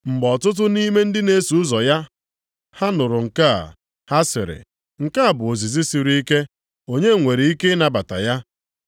Mgbe ọtụtụ nʼime ndị na-eso ụzọ ya ha nụrụ nke a, ha sịrị, “Nke a bụ ozizi siri ike, onye nwere ike ịnabata ya?”